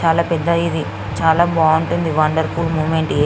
చాల పెద్ద ఇది చాల బాగుంటది ఇది చాల వండర్ఫుల్ మూమెంట్ ఇది .